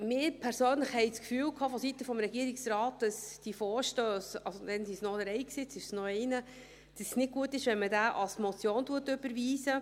Wir persönlich hatten vonseiten des Regierungsrates das Gefühl, dass es bei diesen Vorstössen – damals waren es noch drei, jetzt ist es noch einer – nicht gut ist, wenn man sie als Motion überweist.